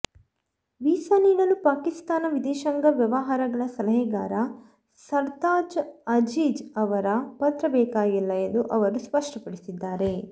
visa ನೀಡಲು ಪಾಕಿಸ್ತಾನ ವಿದೇಶಾಂಗ ವ್ಯವಹಾರಗಳ ಸಲಹೆಗಾರ ಸರ್ತಾಜ್ ಅಜೀಜ್ ಅವರ ಪತ್ರ ಬೇಕಾಗಿಲ್ಲ ಎಂದು ಅವರು ಸ್ಪಷ್ಟಪಡಿಸಿದ್ದಾರೆ